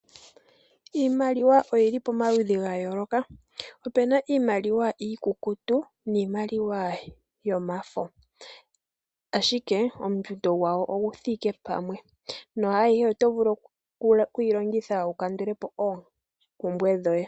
Iimaliwa oyi li pomaludhi ga yooloka. Opu na iimaliwa iikukutu naambi yomafo ashike ongushu yawo oyi thike pamwe. Ayihe ohayi vulu okulongithwa okukandulapo oompumbwe.